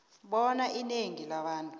bona inengi labantu